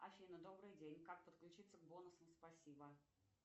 афина добрый день как подключиться к бонусам спасибо